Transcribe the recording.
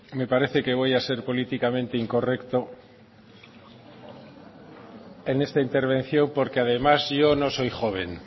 me parece que voy a ser políticamente incorrecto en esta intervención porque además yo no soy joven